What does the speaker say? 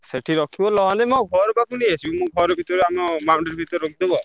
ସେଠି ରଖିବା ନହେଲେ ମୋ ଘର ପାଖକୁ ନେଇ ଆସିବନି ମୁଁ ଘର ଭିତରେ ଆମ boundary ଭିତରେ ରଖି ଦବୁ ଆଉ।